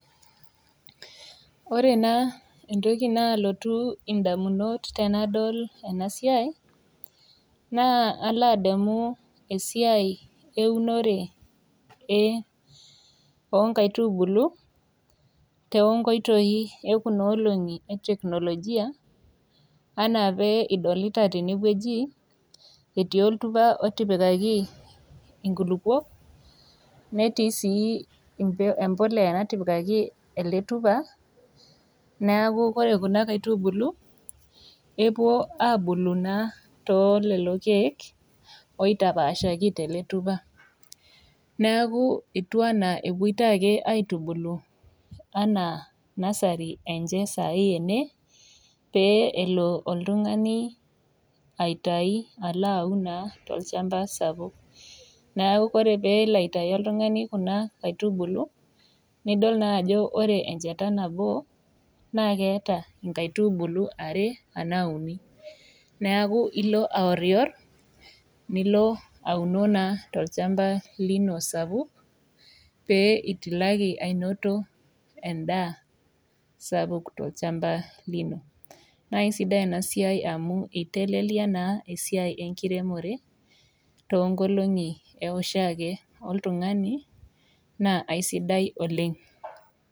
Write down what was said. Ore naa entoki naalotu indamunot tenadol ena siai naa alo adamu esiai eunore e oo nkaitubulu too nkitoi e kuna olong'i e teknolojia anaa pee idolita tene wueji etii oltupa otipikaki inkulukok, netii sii embe ebolea natipikaki ele tupa, neeku kore kuna kaitubulu epuo abulu naa too lelo keek oitapaashai tele tupa. Neeku etiu enaa epuitoi ake aitubulu enaa nasari enche saai ene pee elo oltung'ani aitayu alo aun naa tolchamba sapuk. Neeku ore peelo aitayu oltung'ani kuna aitubulu, nidol naa ajo re enchata nabo naake eeta inkaitubulu are anaa uni. Neeku ilo aworiwor, nilo aunu naa tolchamba lino sapuk pee itilaki ainoto endaa sapuk tolchamba lino. Nae sidai ena siai amu itelelia naa esiai enkiremore too nkolong'i e woshake oltung'ani naa aisidai oleng'.